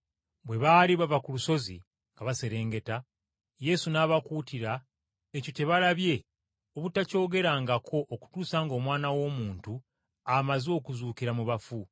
Bwe baali baserengeta olusozi, Yesu n’abakuutira ekyo kye balabye obutakyogerangako okutuusa ng’Omwana w’Omuntu amaze okuzuukira mu bafu.